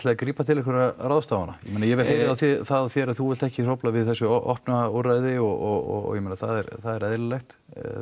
að grípa til einhverra ráðstafana ég heyri það á þér að þú vilt ekki hrófla við þessu opna úrræði og ég meina það er það er eðlilegt